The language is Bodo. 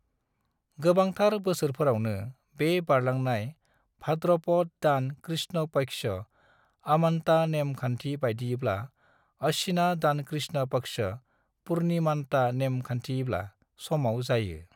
गोबांथार बोसोरफोरावनो, बे बारलांनाया भाद्रपद दान कृष्ण पक्ष (अमांता नेम खानथि बायदियैब्ला)/अश्वीना दान कृष्ण पक्ष (पूर्णिमानता नेम खानथियैब्ला) समाव जायो।